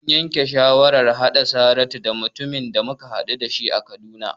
Mun yanke shawarar haɗa Saratu da mutumin da muka haɗu a Kaduna.